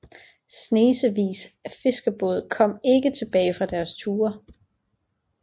Snesevis af fiskerbåde kom ikke tilbage fra deres ture